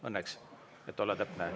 Õnneks, et olla täpne.